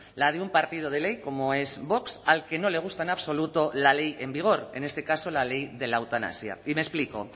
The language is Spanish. la de un partido de ley como es vox al que no le gusta en absoluto la ley en vigor en este caso la ley de la eutanasia y me explico